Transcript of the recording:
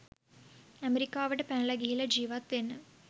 ඇමෙරිකාවට පැනල ගිහිල්ල ජීවත්වෙන්න